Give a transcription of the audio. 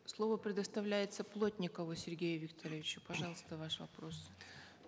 слово предоставляется плотникову сергею викторовичу пожалуйста ваш вопрос